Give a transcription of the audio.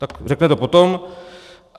Tak to řekne potom.